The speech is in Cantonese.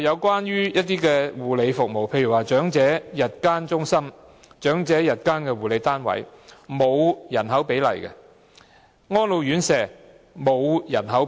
此外，其他護理服務，例如長者日間中心、長者日間護理單位、安老院舍等同樣沒有訂下人口比例。